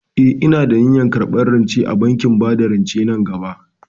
Eh, ina da niyyar karɓar rance a bankin bada rance nan gaba.